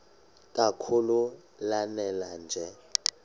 kakhulu lanela nje